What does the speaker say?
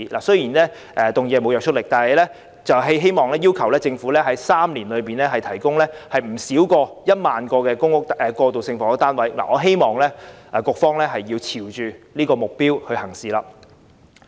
雖然議案沒有約束力，但我希望要求政府在3年內提供不少於1萬個過渡性房屋單位，希望政府會朝着這目標行事。